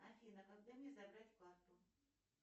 афина когда мне забрать карту